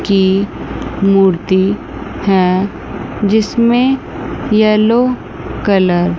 की मूर्ति हैं जिसमें येलो कलर --